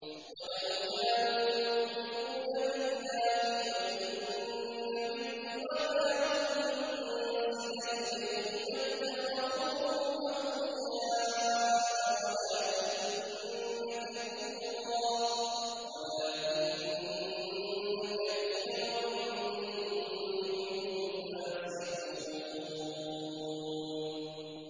وَلَوْ كَانُوا يُؤْمِنُونَ بِاللَّهِ وَالنَّبِيِّ وَمَا أُنزِلَ إِلَيْهِ مَا اتَّخَذُوهُمْ أَوْلِيَاءَ وَلَٰكِنَّ كَثِيرًا مِّنْهُمْ فَاسِقُونَ